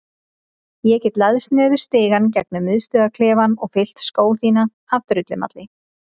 Ég get læðst niður stigann gegnum miðstöðvarklefann og fyllt skó þína af drullumalli.